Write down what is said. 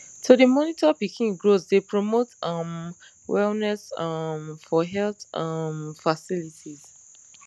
to dey monitor pikin growth dey promote um wellness um for health um facilities